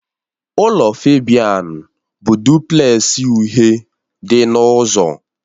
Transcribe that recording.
Ụlọ Febian bụ duplẹsị uhie dị n'ụzọ